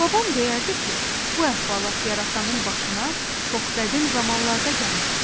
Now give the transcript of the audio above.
Babam deyərdi ki, bu əhvalat yarasanın başına çox qədim zamanlarda gəlmişdi.